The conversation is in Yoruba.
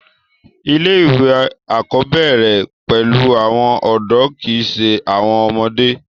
ilé ìwé àkọ́bẹ̀rẹ̀ bẹ̀rẹ̀ pẹ̀lú áwọn ọ̀dọ́ kìí ṣe àwọn ọmọdé